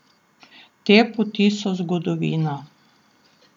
Te poti so zgodovina.